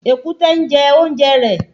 Èkúté ń jẹ oúnjẹ rẹ